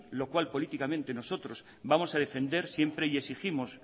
lo cual políticamente nosotros vamos a defender siempre y exigimos